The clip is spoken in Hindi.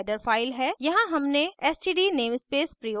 यहाँ हमने std namespace प्रयोग किया